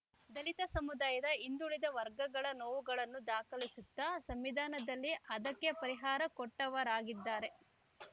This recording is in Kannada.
ದಲಿತ ಸಮುದಾಯದ ಹಿಂದುಳಿದ ವರ್ಗಗಳ ನೋವುಗಳನ್ನು ದಾಖಲಿಸುತ್ತಾ ಸಂವಿಧಾನದಲ್ಲಿ ಅದಕ್ಕೆ ಪರಿಹಾರ ಕೊಟ್ಟವರಾಗಿದ್ದಾರೆ